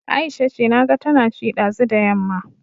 Aisha ce, naga tana ci ɗazu da yamma